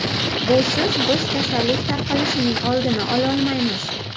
Busiz biz kasallik tarqalishining oldini ololmaymiz.